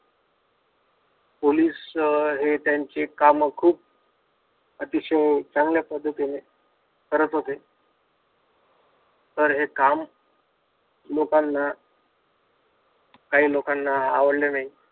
Police हे त्यांचे काम खूप अतिशय चांगल्या पद्धतीने करत होते. तर हे काम लोकांना काही लोकांना आवडले नाही.